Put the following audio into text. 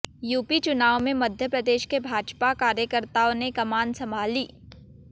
UP चुनाव में मप्र के भाजपा कार्यकर्ताओं ने कमान संभाली